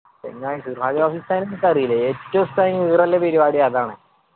ചെങ്ങായി ഉസ്താദിനെ ഇൻക്ക് അറിയില്ലേ ഏറ്റവും ഉസ്താദിന് ഉള്ള പരുപാടി അതാണ്